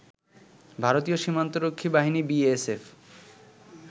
ভারতীয় সীমান্তরক্ষী বাহিনী বিএসএফ